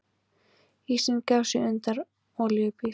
Ísinn gaf sig undan olíubíl